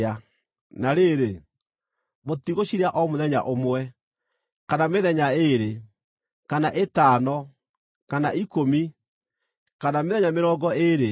Na rĩrĩ, mũtigũcirĩa o mũthenya ũmwe, kana mĩthenya ĩĩrĩ, kana ĩtano, kana ikũmi, kana mĩthenya mĩrongo ĩĩrĩ,